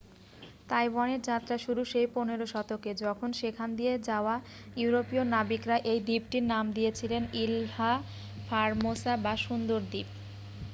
তাইওয়ানের যাত্রা শুরু সেই 15 শতকে যখন সেখান দিয়ে যাওয়া ইউরোপীয় নাবিকরা এই দ্বীপটির নাম দিয়েছিলেন ইলহা ফারমোসা বা সুন্দর দ্বীপ